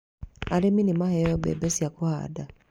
Arĩmi nĩ maheo mbembe cia kũhanda.